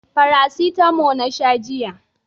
Farasitamo na sha jiya